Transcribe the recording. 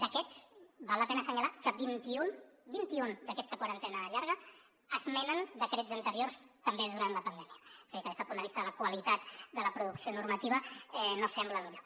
d’aquests val la pena assenyalar que vint i un vint i un d’aquesta quarantena llarga esmenen decrets anteriors també durant la pandèmia és a dir que des del punt de vista de la qualitat de la producció normativa no sembla el millor